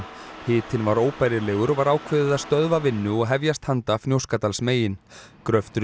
hitinn var óbærilegur og var ákveðið að stöðva vinnu og hefjast handa Fnjóskadalsmegin